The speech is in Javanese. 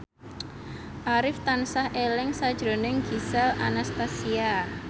Arif tansah eling sakjroning Gisel Anastasia